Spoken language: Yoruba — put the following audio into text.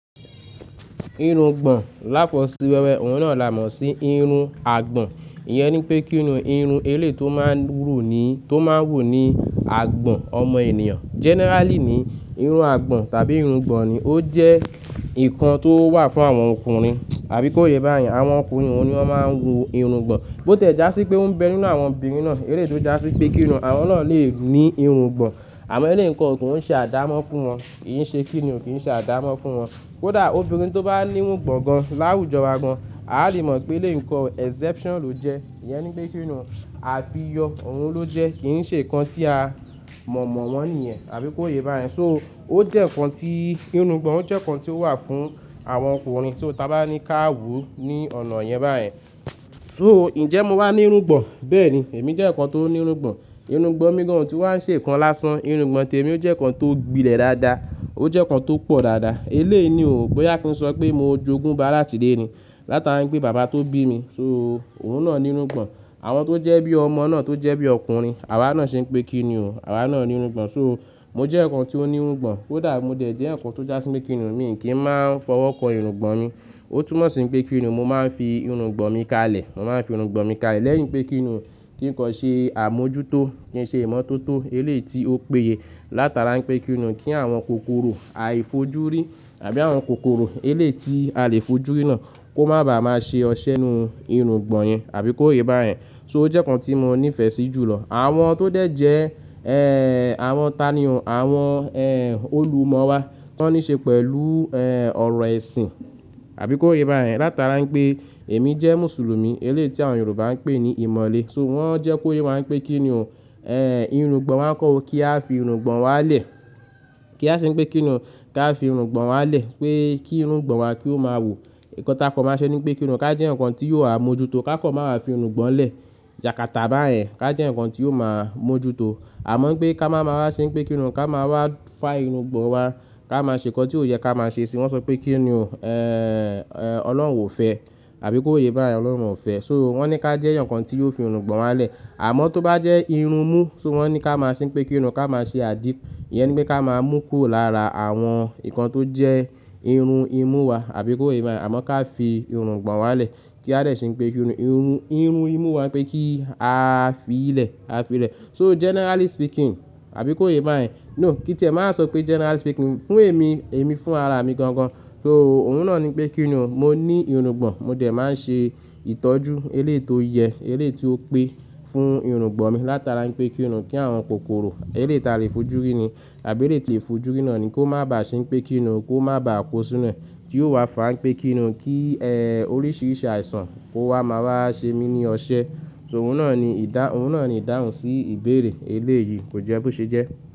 Irun gbọ̀n láfọ̀sí wẹ́wẹ́ òun náà là mọ̀ sí irun àgbọ̀n. Iyẹn ni pé kíni irun eléyi tó máa ń wù ni, tó máa ń wò ni àgbọ̀n ọmọ ènìyàn. Generally ni irun àgbọ̀n tàbí irun gbọ̀n ni ó jẹ́ ǹkan tó wà fún àwọn ọkùnrin. Àbí kó yé bá yẹn, àwọn ọkùnrin ọ́un ni wọ́n máa ń wù irun gbọ̀n. Bó tẹ̀ já sí pé ó ń bẹ nínú àwọn obìnrin náà, eléyi tó já sí pé kíni àwọn náà lè ní irun gbọ̀n. Àmọ́ elé ǹko ogun oun ń ṣe àdámọ́ fún wọn. Ki ṣe kíni o, kì í ṣe àdámọ́ fún wọn. Kódà obìnrin tó bá ní irun gbọ̀n gan láwùjọ wa gan, a lè mọ̀ pé eléyi gan exception ló jẹ́. Iyẹn ni pé kíni o, àfiyọ́ òun ló jẹ́ kì í ṣe ǹkan tí a mọ̀mọ́ won níyẹn. Àbí kó yé bá yẹn. So ó jẹ́ ǹkan tí irungbọ̀n ó jẹ́ ǹkan tí ó wà fún àwọn ọkùnrin so tí o ta bá ní ká wo ní ọ̀nà yẹn bá yẹn. So ǹjẹ́ mo wà ní irun gbọ̀n? Bẹ́ẹ̀ni, èmi jẹ́ ǹkan tó ní irun gbọ̀n. Irun gbọ̀n mi gan òun tu wá ń ṣe ǹkan lásán. Irun gbọ̀n témi ó jẹ́ ǹkan tó gbilẹ̀ dáadáa. Ó jẹ́ ǹkan tó pọ̀ dáadáa. Elé ni o boyá kí n sọ pé mo jogún bàá làtí ile ni látara pé bàbá tó bí mi, so òun náà ní irun gbọ̀n. Àwọn tó jẹ́ bí ọmọ náà tó jẹ́ bí ọkùnrin, àwa náà ṣe ń pé kíni ò, àwa náà ní irun gbọ̀n. So mo jẹ́ ǹkan tí ó ní irun gbọ̀n. Kódà mo dẹ̀ jẹ́ ǹkan tó já sí pé kíni ò, mi kì í máa ń fọwọ́ kọ irun gbọ̀n mi. Ó túmọ̀ sí pé kíni òun mo máa ń fi irun gbọ̀n mi kalẹ̀. Mo máa ń fi irun gbọ̀n mi kalẹ̀. Lẹ́yìn pé kíni ò, kí ǹkan ṣe àmójútó, kí ń ṣe ìmọ́tótó eléyi tí ó péye látara ń pé kíni ò kí àwọn kòkòrò aifojúrí àbí àwọn kòkòrò eléyi tí a lè fojú rí náà kó má ba à máa ṣe ọṣẹ́ nú irun gbọ̀n yẹn. Àbí kó yé bá yẹn. So ó jẹ́ ǹkan tí mo nífẹ̀ẹ́ sí jùlọ. Àwọn tó dẹ̀ jẹ́, eeh, àwọn tani o, àwọn, eeh, olùmọ̀ wa tan níí ṣe pẹ̀lú, eeh, ọ̀rọ̀ ẹ̀sìn. Àbí kó yé bá yẹn. Látara ń pé èmi jẹ́ Mùsùlùmí, eléyi tí àwọn Yorùbá ń pè ní ìmọ̀le. So wọ́n jẹ́ kó yé wáa ń pé kíni ò, eeh, irun gbọ̀n wáa ń kọ́ ọ kí a fi irun gbọ̀n wa lẹ̀. Kí a ṣe ń pé kíni ò, ká fi irun gbọ̀n wa lẹ̀. Pé kí irun gbọ̀n wa kí ó máa wò. Nkan ta kan máa ṣẹ́ ní pé kíni ò, ká jẹ́ èèyàn kan tí yóò àmójútó ká kan máa wà fi irun gbọ̀n lẹ̀. Yàkátà bá yẹn ká jẹ́ ǹkan tí yóò máa mójútó. Àmọ́ pé ká máa máa ṣe ń pé kíni ò ká máa wà fá irun gbọ̀n wa, ká máa ṣe ǹkan tí ò yẹ ká máa ṣe sì wọ́n ṣọ pé kíni ò, eeh, eeh, Ọlọ́run ò fẹ́. Àbí kó yé bá yẹn Ọlọ́run ò fẹ́. So wọ́n ní ká jẹ́ ǹkan tí yóò fi irun gbọ̀n wa lẹ̀. Àmọ́ tó bá jẹ́ irun mú, so wọ́n ní ká máa ṣe ń pé kíni ò, ká máa ṣe àdì. Iyẹn ni pé ká máa mú kúrò lára àwọn ǹkan tó jẹ́ irun imú wa. Àbí kó yé bá yẹn. Àmọ́ ká fi irun gbọ̀n wa lẹ̀. Kí a dè ṣe ń pé kíni ò, irunmu, irun imú wa ń pé kí a fi í lẹ̀, a fi í lẹ̀. So generally speaking, àbí kó yé bá yẹn. No, kí n tìẹ máa sọ pé generally speaking, fún èmi, èmi fún ara mi gangan. So òun náà ni pé kíni ò, mo ní irun gbọ̀n. Mo dẹ̀ máa ń ṣe ìtọ́jú eléyi tó yẹ, eléyi tí ó pé fún irun gbọ̀n mi látara ń pé kíni ò, kí àwọn kòkòrò eléyi tí a lè fojú rí ni àbí elé tí è fojú rí náà ni kó má bá ṣe ń pé kíni òun kó má bá kó sí inú ẹ. Kí ó wà fá ń pé kíni ò, kí, eeh, oríṣiríṣi àìsàn kó wá máa wà ṣe mí ní ọọṣẹ́. So òun náà ni ìdáhùn, òun náà ni ìdáhùn sí ìbéèrè elé yìí. Kò jẹ́ bó ṣe jẹ́.